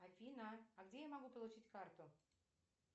афина а где я могу получить карту